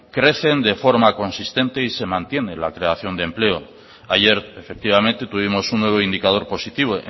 crecen de forma consistente y se mantiene la creación de empleo ayer efectivamente tuvimos un nuevo indicador positivo